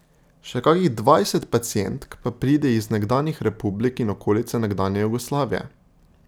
Še kakih dvajset pacientk pa pride iz nekdanjih republik in okolice nekdanje Jugoslavije.